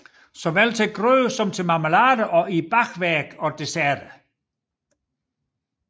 Såvel til grød som til marmelade og i bagværk og desserter